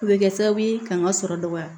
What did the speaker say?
O bɛ kɛ sababu ye ka n ka sɔrɔ dɔgɔya